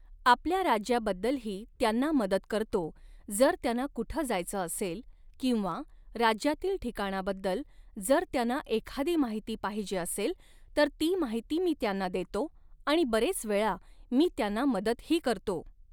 आपल्या राज्याबद्दलही त्यांना मदत करतो, जर त्यांना कुठं जायचं असेल किंवा राज्यातील ठिकाणाबद्दल जर त्यांना एखादी माहिती पाहिजे असेल तर ती माहिती मी त्यांना देतो आणि बरेच वेळा मी त्यांना मदतही करतो